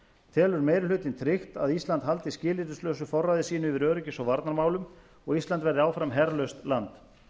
telur meiri hlutinn tryggt að ísland haldi skilyrðislausu forræði sínu yfir öryggis og varnarmálum og ísland verði áfram herlaust land